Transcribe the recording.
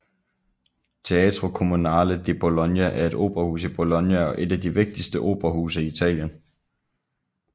Teatro Comunale di Bologna er et operahus i Bologna og er et af de vigtigste operahuse i Italien